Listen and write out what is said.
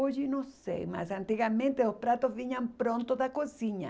Hoje não sei, mas antigamente os pratos vinham pronto da cozinha.